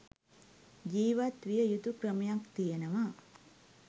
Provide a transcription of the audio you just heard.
ජිවත් විය යුතු ක්‍රමයක් තියෙනවා